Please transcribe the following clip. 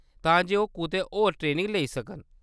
तां जे ओह्‌‌ कुतै होर ट्रेनिंग लेई सकन।